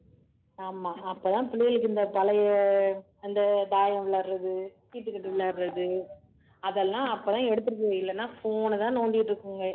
ஆமா அப்பதான் பிள்ளைகளுக்கு இந்த பழைய அந்த தாயம் விளையாடுறது, சீட்டுக்கட்டு விளையாடுறது அதெல்லாம் அப்பதான் எடுத்திருக்கீங்க இல்லைன்னா phone ஐதான் நோண்டிட்டு இருக்குங்க